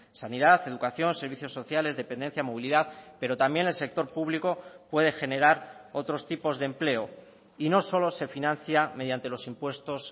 sanidad educación servicios sociales dependencia movilidad pero también el sector público puede generar otros tipos de empleo y no solo se financia mediante los impuestos